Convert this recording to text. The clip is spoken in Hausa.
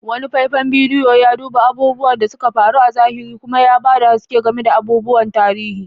Wani faifan bidiyo ya duba abubuwan da suka faru a zahiri kuma ya ba da haske game da abubuwan tarihi.